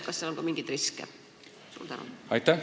Kas seal on ka mingeid riske?